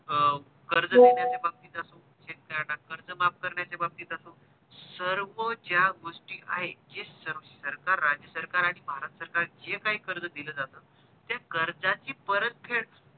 अं कर्ज देण्याचा बाबतीत असो शेतकऱ्यांना कर्ज माफ करण्याच्या बाबतीत असो सर्व ज्या गोष्टी आहे जे स सरकार राज्यसरकार आणि भारत सरकार जे काही कर्ज दिल जात त्या कर्जाची परत फेड